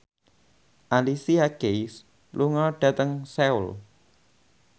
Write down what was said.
Alicia Keys lunga dhateng Seoul